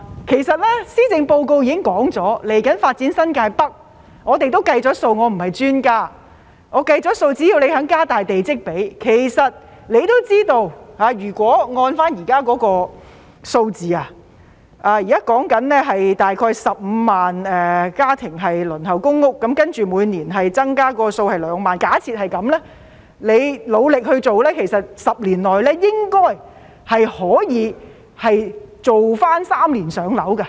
其實施政報告已經表明，未來會發展新界北，我不是專家，但我計算過，只要政府願意加大地積比，局長也知道，如果按照現在的數字，大約15萬個家庭輪候公屋，然後假設每年增加2萬，只要局長努力做 ，10 年內應該可以重新達致"三年上樓"的目標。